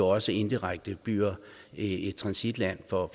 også indirekte bliver et transitland for